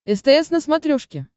стс на смотрешке